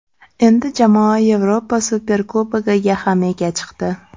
Endi jamoa Yevropa Superkubogiga ham ega chiqdi.